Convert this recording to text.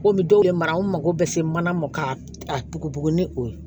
Komi dɔw ye marakuru bɛ se mana ma ka a bugubugu ni o ye